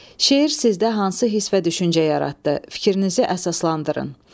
Şeir sizdə hansı hiss və düşüncə yaratdı, fikrinizi əsaslandırın.